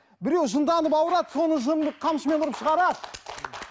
біреу жынданып ауырады соны жынын қамшымен ұрып шығарады